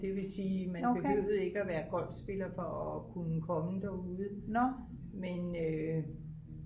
det vil sige man behøvede ikke være golfspiller for at kunne komme derude men